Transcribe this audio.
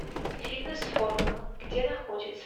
фитнес формула где находится